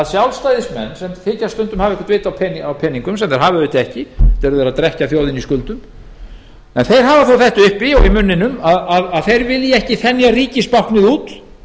sjálfstæðismenn sem þykjast stundum hafa vit á peningum sem þeir hafa auðvitað ekki enda eru þeir að drekkja þjóðinni í skuldum hafa það þó uppi hafa það í munninum að þeir vilji ekki þenja ríkisbáknið út